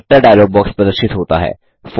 character dialogue box प्रदर्शित होता है